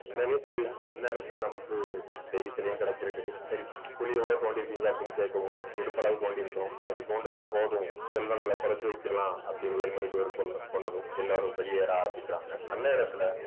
என்னன்னே தெரியலே இந்நேரத்திலே நமக்கு தேவி சிலையும் கிடைச்சிருக்கு சரி குழி எவ்ளோ தோண்டி இருக்கீங்க அப்படின்னு கேட்கவும் இடுப்பு அளவுக்கு தோண்டி இருக்கிறோம் சரி தோண்டுனது போதும் செல்வங்களை புதைச்சு வைக்கலாம் அப்படின்னு வேலு மணி தேவர் சொன்ன சொன்னதும் எல்லாரும் வெளியேற ஆரம்பிக்கிறாங்க அந்நேரத்துல